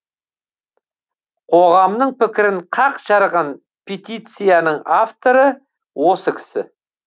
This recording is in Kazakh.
қоғамның пікірін қақ жарған петицияның авторы осы кісі